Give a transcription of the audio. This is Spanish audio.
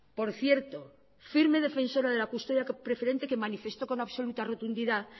por cierto firme defensora de la custodia preferente que manifestó con absoluta rotundidad